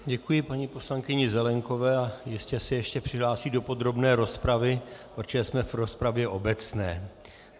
Děkuji paní poslankyni Zelienkové a jistě se ještě přihlásí do podrobné rozpravy, protože jsme v rozpravě obecné.